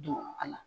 Don a la